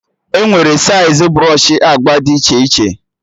Enwere saịz brsọshị agba dị iche iche